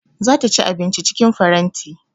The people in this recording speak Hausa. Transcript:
Za ta ci abinci cikin faranti